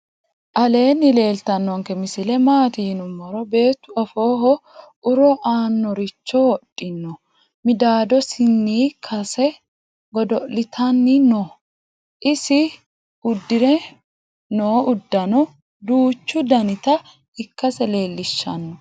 aleeni leltanonke misile matti yinumoro beetu afoho uro annoricho wodhino .midadosini kase godo'litanni noo. isi udirinno udano duuchu danita ikkase leelishano.